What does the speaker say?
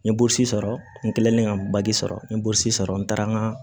N ye burusi sɔrɔ n kɛlen ka sɔrɔ n ye burusi sɔrɔ n taara n ka